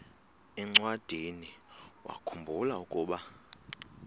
encwadiniwakhu mbula ukuba